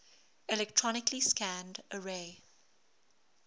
electronically scanned array